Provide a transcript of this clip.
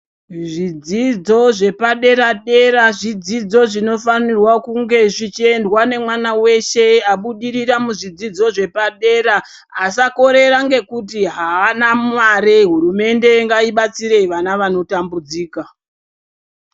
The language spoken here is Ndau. Zvidzidzo zvepadera dera zvidzidzo zvinofanirwa kunge zvichiendwa nemwana weshe abudirira muzvidzidzo zvepadera asakorera ngekuti haana mare, hurumende ngaibatsire vana vanotambudzika.